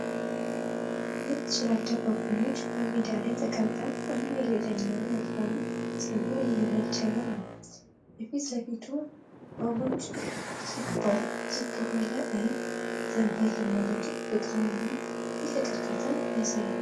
ሁለት ጭላዳ ባቡኖች በሜዳ ላይ ተቀምጠው አንዱ የሌላኛውን ወፍራም ፀጉር እያበጠረ ነው። የፊት ለፊቱ ባቡን ዝግ ባለ ዓይን ዘንበል ማለቱ ፍቅርንና ትልቅ እርካታን ያሳያል።